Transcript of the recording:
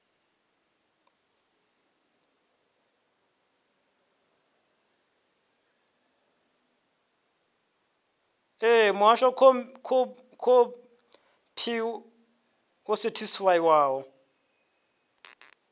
ṋee muhasho khophi yo sethifaiwaho